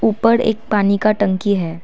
ऊपर एक पानी का टंकी है।